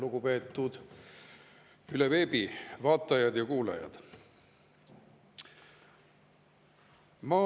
Lugupeetud veebi abil vaatajad ja kuulajad!